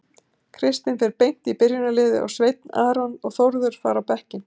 Kristinn fer beint í byrjunarliðið og Sveinn Aron og Þórður fara á bekkinn.